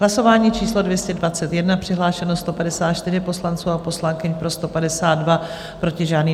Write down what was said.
Hlasování číslo 221, přihlášeno 154 poslanců a poslankyň, pro 152, proti žádný.